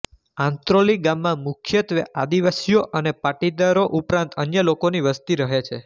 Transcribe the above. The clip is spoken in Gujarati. આંત્રોલી ગામમાં મુખ્યત્વે આદિવાસીઓ અને પાટીદારો ઉપરાંત અન્ય લોકોની વસ્તી રહે છે